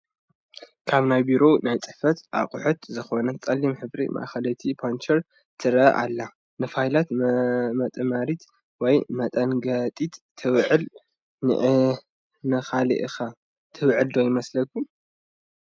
ካብ ናይ ቢሮን ናይ ፅሕፈትን ኣቑሑት ዝኾነት ፀላም ሕብራ ማእኸለይቲ ፓንቸር ትረአ ኣላ፡፡ ንፋይላት መጥመሪት ወይ መሐንገጢት ትውዕል፡፡ ንኻሊእ ኸ ትውዕል ዶ ይመስለኩም?